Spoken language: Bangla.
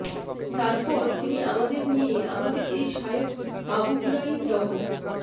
তারপর তিনি আমাদের নিয়ে আমাদের এই শায়খ আবু বুরাইদ রহ